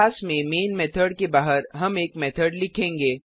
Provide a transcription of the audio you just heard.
class में main method के बाहर हम एक मेथड लिखेंगे